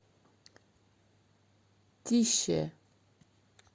тише